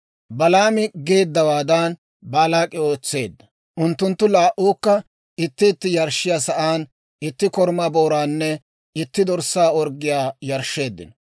Balaami geeddawaadan Baalaak'i ootseedda; unttunttu laa"uukka itti itti yarshshiyaa sa'aan itti korumaa booraanne itti dorssaa orggiyaa yarshsheeddino.